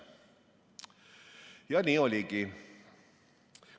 Ja nii oligi.